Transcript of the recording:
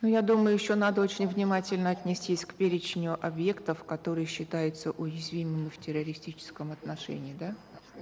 ну я думаю еще надо очень внимательно отнестись к перечню объектов которые считаются уязвимыми в террористическом отношении да